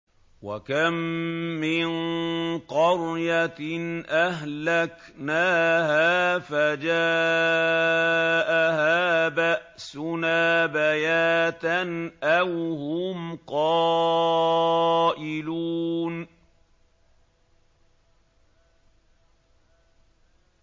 وَكَم مِّن قَرْيَةٍ أَهْلَكْنَاهَا فَجَاءَهَا بَأْسُنَا بَيَاتًا أَوْ هُمْ قَائِلُونَ